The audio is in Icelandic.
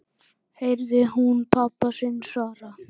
heyrði hún pabba sinn svara.